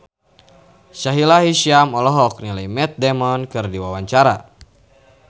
Sahila Hisyam olohok ningali Matt Damon keur diwawancara